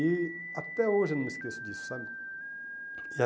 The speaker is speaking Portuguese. E até hoje eu não me esqueço disso, sabe?